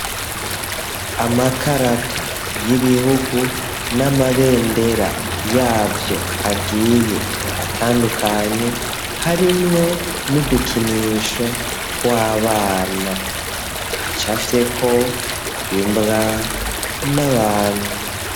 Amakarata y'ibihugu n'amabendera yavyo agiye atandukanye, harimwo n'udukinisho tw'abana, hacafyeko imbwa n'abantu.